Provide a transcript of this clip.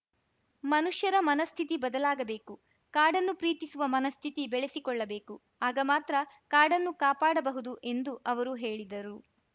ಮನುಷ್ಯರ ಮನಸ್ಥಿತಿ ಬದಲಾಗಬೇಕು ಕಾಡನ್ನು ಪ್ರೀತಿಸುವ ಮನಸ್ಥಿತಿ ಬೆಳೆಸಿಕೊಳ್ಳಬೇಕು ಆಗ ಮಾತ್ರ ಕಾಡನ್ನು ಕಾಪಾಡಬಹುದು ಎಂದು ಅವರು ಹೇಳಿದರು